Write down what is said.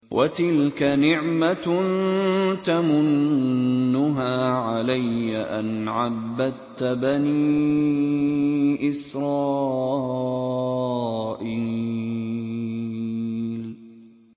وَتِلْكَ نِعْمَةٌ تَمُنُّهَا عَلَيَّ أَنْ عَبَّدتَّ بَنِي إِسْرَائِيلَ